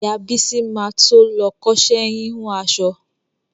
Ìyá Bísí ma to lọ kọ́ṣẹ́ híhun aṣọ.